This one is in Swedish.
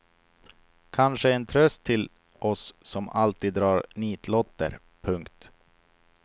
Kanske en tröst till oss som alltid drar nitlotter. punkt